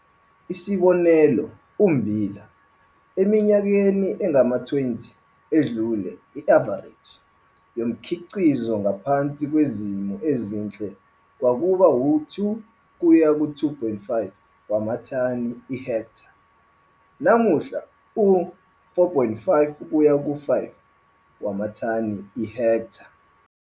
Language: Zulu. Isibonelo ummbila - eminyakeni engama-20 edlule i-avareji yomkhiqizo ngaphansi kwezimo ezinhle kwakuba u-2 kuya ku-2,5 wamathani ihektha, namuhla u-4,5 kuya ku5 wamathani ihektha.